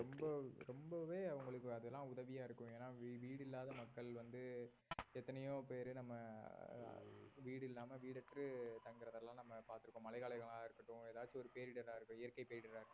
ரொம்ப ரொம்பவே அவங்களுக்கு அதெல்லாம் உதவியா இருக்கும் ஏன்னா வீடில்லாத மக்கள் வந்து எத்தனையோ பேர் நம்ம ஆஹ் வீடு இல்லாம தங்கறதை எல்லாம் நம்ம பார்த்திருக்கோம் மழை காலமாய் இருக்கட்டும் ஏதாச்சும் ஒரு பேரிடரா இருக்கட்டும் இயற்கை பேரிடரா இருக்கட்டும்